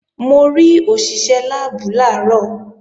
Mo rí òṣìṣé láàbù làárọ̀